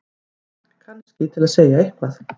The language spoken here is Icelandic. Kannski til að segja eitthvað.